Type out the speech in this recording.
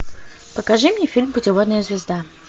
покажи мне фильм путеводная звезда